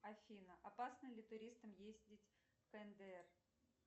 афина опасно ли туристам ездить в кндр